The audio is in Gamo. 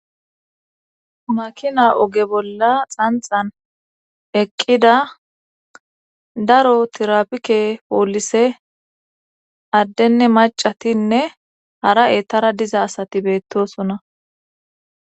makina oge bolla xanxan eqqida daro tirapike poolise addenne macatinne hara ettara diza asati beettosona